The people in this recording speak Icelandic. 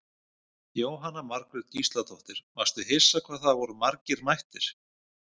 Jóhanna Margrét Gísladóttir: Varstu hissa hvað það voru margir mættir?